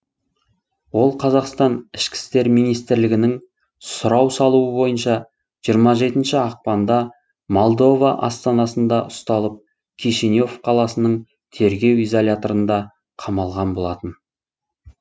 ол қазақстан іім нің сұрау салуы бойынша жирма жетінші ақпанда молдова астанасында ұсталып кишинев қаласының тергеу изоляторына қамалған болатын